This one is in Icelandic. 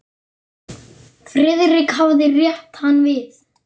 Friðrik hafði rétt hann við.